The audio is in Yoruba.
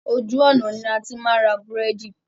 Ojú ọ̀nà ni a ti máa ń ra búrẹ́dì.